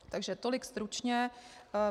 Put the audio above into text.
Takže tolik stručně.